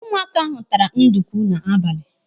Ụmụaka ahụ taara ndukwu n'abalị.